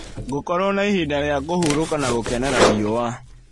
Ngũkorwo na ihinda rĩa kũhurũka na gũkenera riũa.